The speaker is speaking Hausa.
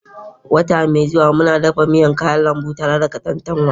Wata mai zuwa, muna shirin dafa miyan kayan lambu tare da katantanwa.